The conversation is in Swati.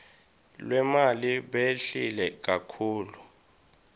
lwemali behlile kakhulu